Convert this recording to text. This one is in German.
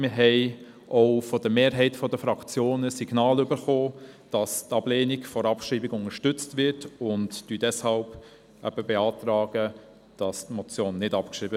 Wir haben von der Mehrheit der Fraktionen Signale erhalten, dass die Ablehnung der Abschreibung unterstützt wird, und beantragen deshalb, die Motion nicht abzuschreiben.